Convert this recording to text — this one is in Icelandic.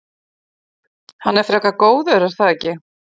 Hann er frekar góður er það ekki?